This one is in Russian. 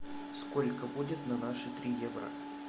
сколько будет на наши три евро